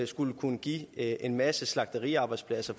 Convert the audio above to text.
skulle kunne give en masse slagteriarbejdspladser